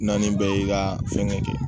N'an bɛɛ y'i ka fɛngɛ kɛ